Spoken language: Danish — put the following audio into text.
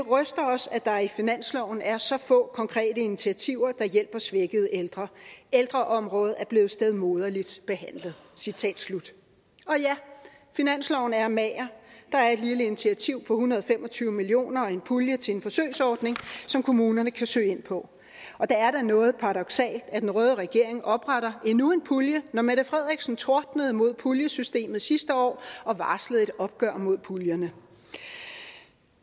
os at der i finansloven er så få konkrete initiativer der hjælper svækkede ældre ældreområdet er blevet stedmoderligt behandlet og ja finansloven er mager der er et lille initiativ på en hundrede og fem og tyve million kroner og en pulje til en forsøgsordning som kommunerne kan søge ind på og det er da noget paradoksalt at den røde regering opretter endnu en pulje når mette frederiksen tordnede mod puljesystemet sidste år og varslede et opgør med puljerne